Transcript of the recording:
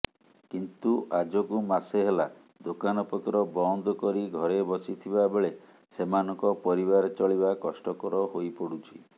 କିନ୍ତୁ ଆଜକୁ ମାସେ ହେଲା ଦୋକନପତ୍ର ବନ୍ଦ କରି ଘରେ ବସିଥିବାବେଳେ ସେମାନଙ୍କ ପରିବାର ଚଳିବା କଷ୍ଟକର ହୋଇପଡୁଛି